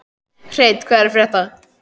Hreinn, hvað er að frétta?